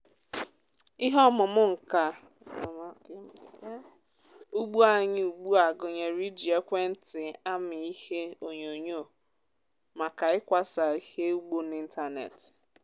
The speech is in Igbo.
ihe ọmụmụ nka ugbo anyị ugbu a gụnyere iji ekwentị amị ihe onyonyo maka ịkwasa ihe ugbo n’ịntanetị.